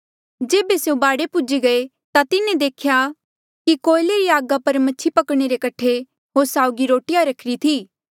जेबे स्यों बाढे पूजी गये ता तिन्हें देख्या कि कोएले री आगा पर मछि पकणे रे कठे होर साउगी रोटिया रखिरी थी